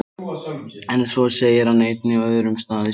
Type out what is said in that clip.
En svo segir hann einnig á öðrum stað í sömu bók: